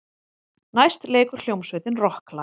Næst leikur hljómsveitin rokklag.